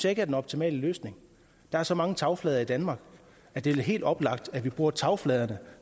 ikke er den optimale løsning der er så mange tagflader i danmark at det er helt oplagt at vi bruger tagfladerne